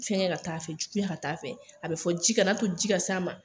Fɛngɛ ka taa fɛ, juguya ka t'a fɛ . A be fɔ ji ka n'a to ji ka s'a ma.